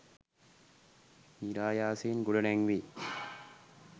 නිරායාසයෙන් ගොඩනැංවේ